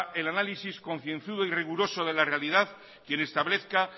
el análisis concienzudo y riguroso de la realidad quien establezca